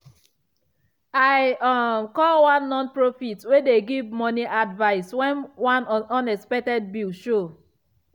i um call one nonprofit wey dey give money advice when one unexpected bill show.